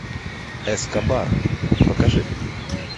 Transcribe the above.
эскобар покажи